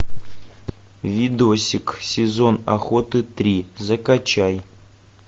видосик сезон охоты три закачай